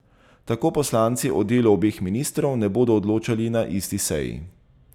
Tako poslanci o delu obeh ministrov ne bodo odločali na isti seji.